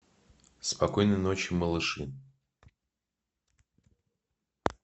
спокойной ночи малыши